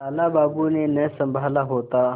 लाला बाबू ने न सँभाला होता